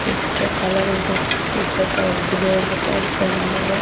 एकठो काला रंग के टीशर्ट और ब्लू रंग के पैंट पहिनले बा।